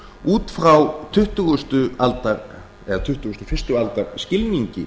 út frá tuttugustu aldar eða tuttugasta og fyrstu aldar skilningi